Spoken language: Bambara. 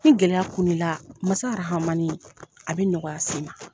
Ni gɛlɛya kun n'i la, Masa Rahamani a bɛ nɔgɔya s'i ma.